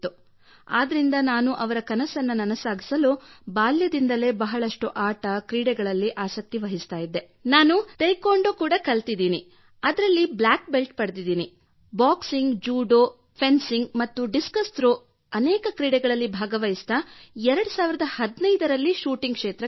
ಆದ್ದರಿಂದ ನಾನು ಅವರ ಕನಸನ್ನು ನನಸಾಗಿಸಲು ಬಾಲ್ಯದಿಂದಲೇ ಬಹಳಷ್ಟು ಆಟ ಕ್ರೀಡೆಗಳಲ್ಲಿ ಆಸಕ್ತಿ ವಹಿಸುತ್ತಿದ್ದೆ ಮತ್ತು ನಾನು ಟೇಕ್ವೊಂಡೊ ಕೂಡಾ ಕಲಿತಿದ್ದೇನೆ ಮತ್ತು ಅದರಲ್ಲಿ ಬ್ಲ್ಯಾಕ್ ಬೆಲ್ಟ್ ಪಡೆದಿದ್ದೇನೆ ಹಾಗೂ ಬಾಕ್ಸಿಂಗ್ ಜುಡೋ ಮತ್ತು ಫೆನ್ಸಿಂಗ್ ಮತ್ತು ಡಿಸ್ಕಸ್ ಥ್ರೋ ಇತ್ಯಾದಿ ಅನೇಕ ಕ್ರೀಡೆಗಳಲ್ಲಿ ಭಾಗವಹಿಸುತ್ತಾ 2015 ರಲ್ಲಿ ಶೂಟಿಂಗ್ ಕ್ಷೇತ್ರಕ್ಕೆ ಬಂದೆ